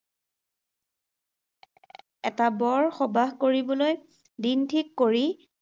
টা বৰ সবাহ কৰিবলৈ দিন ঠিক কৰি